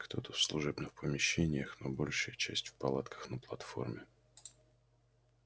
кто-то в служебных помещениях но большая часть в палатках на платформе